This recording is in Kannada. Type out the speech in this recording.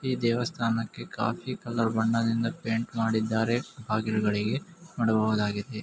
ಈ ದೇವಸ್ಥಾನಕ್ಕೆ ಕಾಫಿ ಕಲರ್ ಬಣ್ಣದಿಂದ ಪೈಂಟ್ ಮಾಡಿದ್ದಾರೆ ಬಾಗಿಲುಗಳಿಗೆ ನೋಡಬಹುದಾಗಿದೆ.